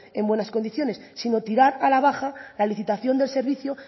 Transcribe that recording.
en buenas condiciones sino tirar a la baja la licitación del servicio